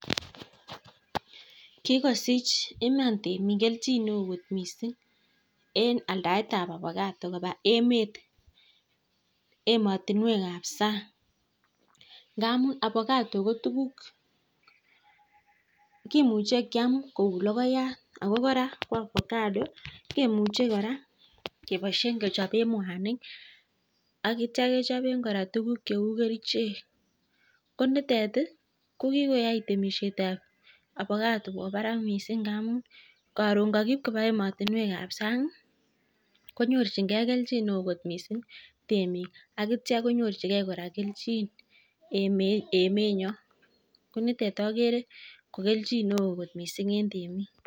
Kikosich iman temik keljin missing eng aldaet ab (ovacado) kobaa emet ab sang ngamuu kimuchee keam ko lokoyat koraa kimuchen kechopee mwanik ak tuguk che kerichek kikwai temishet ab ovacado kobaa barak missing